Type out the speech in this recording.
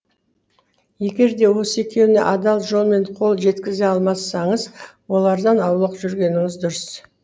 егер де осы екеуіне адал жолмен қол жеткізе алмасаңыз олардан аулақ жүргеніңіз дұрыс